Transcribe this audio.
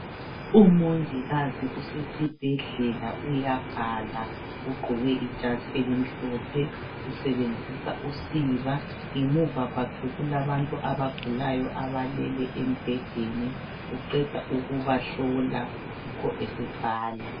Umongikazi usesibhedlela uyabhala. Ugqoke ijazi elimhlophe, usebenzisa usiba. Ngemuva kwakhe kulabantu abagulayo abalele embhedeni uqeda ukubahlola, yikho esebhala.